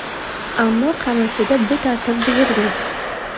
Ammo Qamashida bu tartib buzilgan.